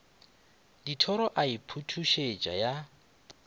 dithoro a e phuthusetša ya